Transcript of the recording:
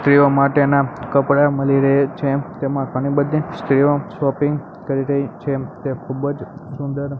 સ્ત્રીઓ માટેના કપડા મળી રહે છે તેમાં ઘણી બધી સ્ત્રીઓ શોપિંગ કરી રહી છે તે ખૂબજ સુંદર--